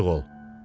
Ayıq ol.